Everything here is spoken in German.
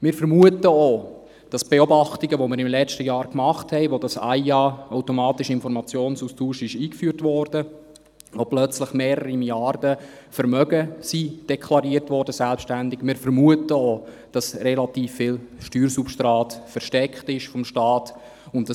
Wir vermuten wegen der Beobachtungen, die wir im letzten Jahr machen konnten, als der AIA eingeführt wurde, als plötzlich selbstständig mehrere Milliarden an Vermögen deklariert wurden, dass relativ viel Steuersubstrat vor dem Staat versteckt wird.